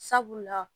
Sabula